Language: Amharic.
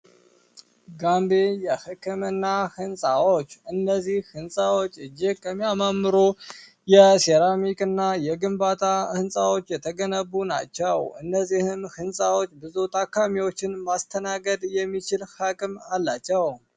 ጋንቤ የሕክምና ሕንፃዎች እነዚህ ሕንፃዎች እጅግ የሚያመምሩ የሴራሚክእና የግንባታ ሕንፃዎች የተገነቡ ናቸው እነዚህም ሕንፃዎች ብዙ ታካሚዎችን ማስተናገድ የሚችል ሀክም አላቸው